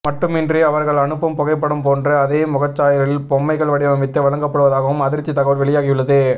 மட்டுமின்றி அவர்கள் அனுப்பும் புகைப்படம் போன்று அதே முகச்சாயலில் பொம்மைகள் வடிவமைத்து வழங்கப்படுவதாகவும் அதிர்ச்சி தகவல் வெளியாகியுள்ளது